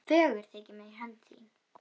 Fögur þykir mér hönd þín